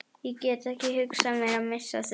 Ég get ekki hugsað mér að missa þig.